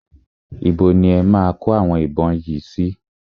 Ibo ni e máa kó àwọn ìbọn yìí sí?